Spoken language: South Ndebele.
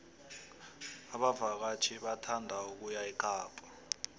abavakatjhi bathanda ukuya ekapa